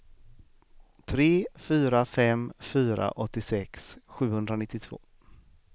tre fyra fem fyra åttiosex sjuhundranittiotvå